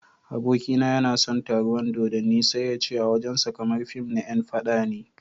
Abokina yana son taruwan dodanni sai yace a wajen sa kamar fim na yan faɗa ne.